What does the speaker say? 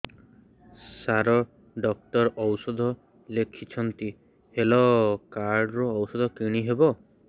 ସାର doctor ଔଷଧ ଲେଖିଛନ୍ତି health card ରୁ ଔଷଧ କିଣି ହେବ